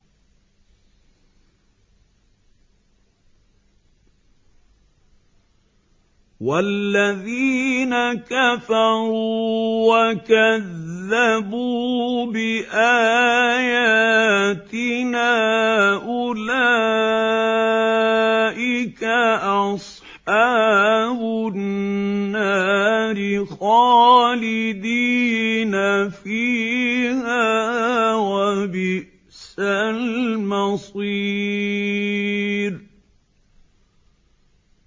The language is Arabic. وَالَّذِينَ كَفَرُوا وَكَذَّبُوا بِآيَاتِنَا أُولَٰئِكَ أَصْحَابُ النَّارِ خَالِدِينَ فِيهَا ۖ وَبِئْسَ الْمَصِيرُ